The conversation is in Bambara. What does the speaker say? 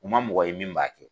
U ma mɔgɔ ye min b'a kɛ